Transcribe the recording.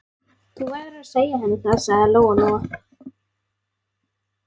Þú verður að segja henni það, sagði Lóa-Lóa.